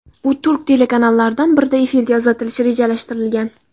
U turk telekanallaridan birida efirga uzatilishi rejalashtirilgan.